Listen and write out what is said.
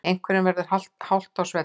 Einhverjum verður halt á svellinu